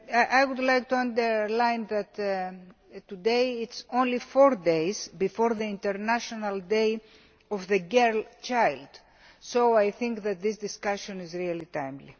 I would like to underline that today is only four days before the International Day of the Girl Child, so I think that this discussion is very timely.